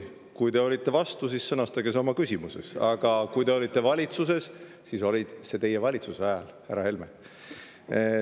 Kui te olite vastu, siis sõnastage see oma küsimuses, aga kui te olite valitsuses, siis see oli teie valitsuse ajal, härra Helme.